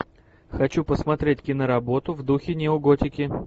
хочу посмотреть киноработу в духе неоготики